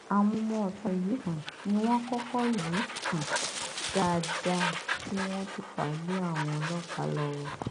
àwọn ọmọọta yìí um ni wọn kọkọ lù um ú dáadáa kí wọn tóó fà á lé àwọn ọlọpàá lọwọ